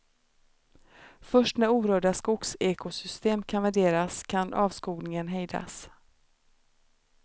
Först när orörda skogsekosystem kan värderas kan avskogningen hejdas.